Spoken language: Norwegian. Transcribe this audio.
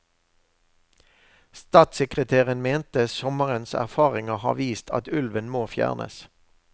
Statssekretæren mente sommerens erfaringer har vist at ulven må fjernes.